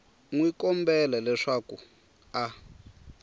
n wi kombela leswaku a